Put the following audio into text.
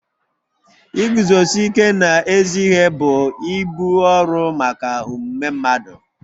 Iguzosi ike n'ezi ihe bụ ibu ọrụ maka omume mmadụ